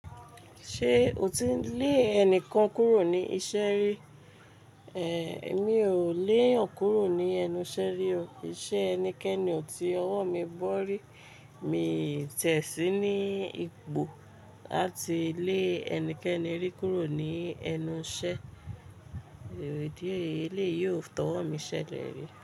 Ṣé o ti lé ẹni kan kúrò ní iṣẹ́ rí? Èmi ò léyan kúrò ní ẹnu iṣẹ́ rí o. Ìṣe ẹnikẹ́ni ò tí ọwọ́ mi bọ́ rí. Mi ò tẹ̀ sí ní ipò láti lé ẹnikẹ́ni rí kúrò ní ẹnu iṣẹ́. Di re eléyi ò tọwọ́ mi ṣẹlẹ̀ rí.